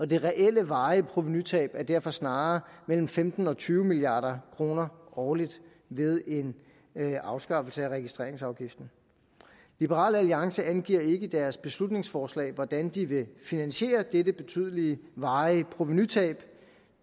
det reelle varige provenutab er derfor snarere mellem femten og tyve milliard kroner årligt ved en afskaffelse af registreringsafgiften liberal alliance angiver ikke i deres beslutningsforslag hvordan de vil finansiere dette betydelige varige provenutab